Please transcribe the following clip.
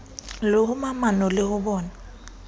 le momahano le ho bona